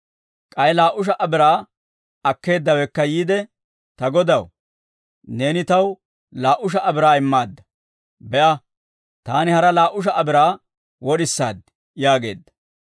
«K'ay laa"u sha"a biraa akkeeddawekka yiide, ‹Ta godaw, neeni taw laa"u sha"a biraa immaadda; be'a, taani hara laa"u sha"a biraa wod'isaad› yaageedda.